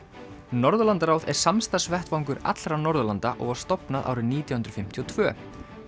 Norðurlandaráð er samstarfsvettvangur allra Norðurlanda og var stofnað árið nítján hundruð fimmtíu og tvö